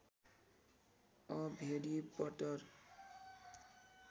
a भेरि पट्टर